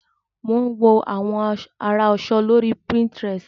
Mò ń wo àwọn àrà aṣọ lórí pinterest.